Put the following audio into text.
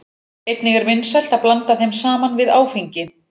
Einnig er vinsælt að blanda þeim saman við áfengi.